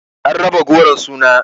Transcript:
An raba goron suna